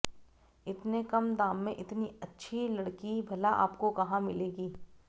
इतने कम दाम में इतनी अच्छी लड़की भला आपको कहां मिलेगी